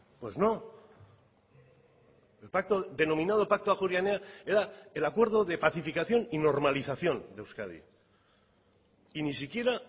pues no el denominado pacto ajuria enea era el acuerdo de pacificación y normalización de euskadi y ni siquiera